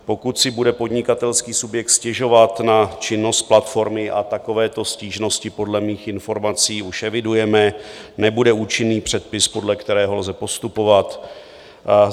Pokud si bude podnikatelský subjekt stěžovat na činnost platformy, a takovéto stížnosti podle mých informací už evidujeme, nebude účinný předpis, podle kterého lze postupovat.